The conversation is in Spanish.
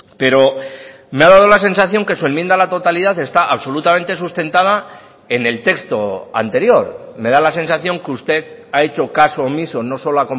pero me ha dado la sensación que su enmienda a la totalidad está absolutamente sustentada en el texto anterior me da la sensación que usted ha hecho caso omiso no solo